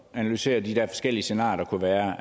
analysere de der forskellige scenarier der kunne være